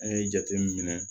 An ye jate min